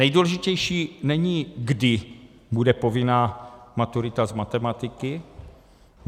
Nejdůležitější není, kdy bude povinná maturita z matematiky.